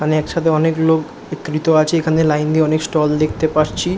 আমি একসাথে অনেক লোক একটু দেখতে পাচ্ছি এখানে লাইন দিয়ে অনেক ষ্টল দেখতে পাচ্ছি ।